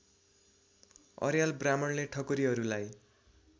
अर्याल ब्राह्मणले ठकुरीहरूलाई